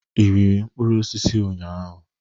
Ị riri mkpụrụ osisi ụnyaahụ?